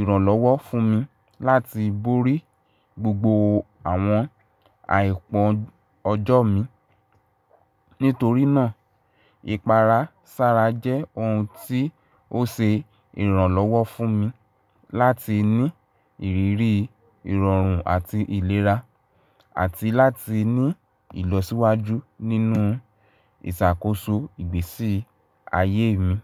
ìrànlọ́wọ́ fún mi láti borí gbogbo àwọn àìpọ́n ọjọ́ mi. Nítorí náà, ìpara sára jẹ́ ohun tí ó ṣe ìrànlọ́wọ́ fún mi láti ní ìrírí ìrọ̀rùn àti ìlera, àti láti ní ìlọsíwájú nínú ìṣàkóso ìgbésí ayé mi.